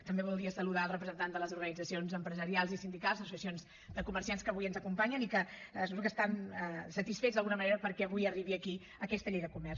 també voldria saludar el representant de les organitzacions empresarials i sindicals associacions de comerciants que avui ens acompanyen i que suposo que estan satisfets d’alguna manera perquè avui arribi aquí aquesta llei de comerç